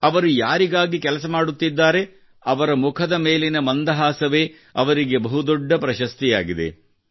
ಅವರು ಯಾರಿಗಾಗಿ ಕೆಲಸ ಮಾಡುತ್ತಿದ್ದಾರೆ ಅವರ ಮುಖದ ಮೇಲಿನ ಮಂದಹಾಸವೇ ಅವರಿಗೆ ಬಹುದೊಡ್ಡ ಪ್ರಶಸ್ತಿಯಾಗಿದೆ